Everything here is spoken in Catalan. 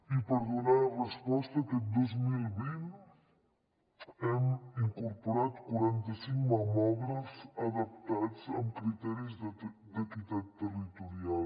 i per donar resposta aquest dos mil vint hem incorporat quaranta cinc mamògrafs adaptats amb criteris d’equitat territorial